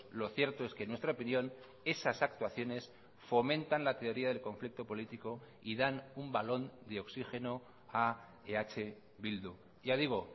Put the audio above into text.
lo cierto es que en nuestra opinión esas actuaciones fomentan la teoría del conflicto político y dan un balón de oxigeno a eh bildu ya digo